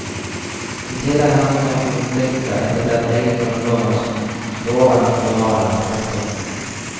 I tillegg har noen republikker etablert egne grunnlover som står over den føderale. punktum